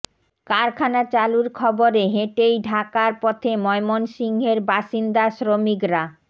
কারখানা চালুর খবরে হেঁটেই ঢাকার পথে ময়মনসিংহের বাসিন্দা শ্রমিকরা